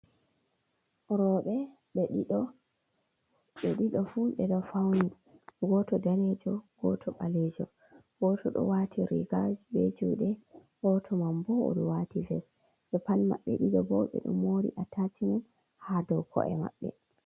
Roɓe ɓe ɗiɗo, ɓe ɗiɗo fu ɓe ɗo fauni, goto danejo goto ɓalejo, goto ɗo wati riga je be juɗe, goto mam bo oɗo wati ves ɓepat maɓɓe ɗiɗo bo ɓe ɗo mori a tachimen ha dow ko’e maɓɓe.